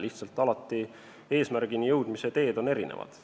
Lihtsalt eesmärgini jõudmise teed on erinevad.